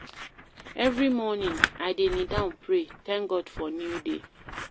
Every morning, I dey kneel down pray, thank God for new day.